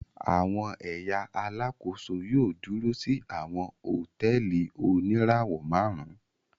Awọn ẹya Alàkóso yóò dúrò si awọn hotẹẹli onirawọ márùn